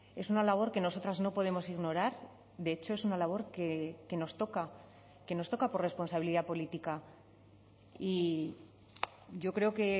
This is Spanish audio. es una labor que nosotras no podemos ignorar de hecho es una labor que nos toca que nos toca por responsabilidad política y yo creo que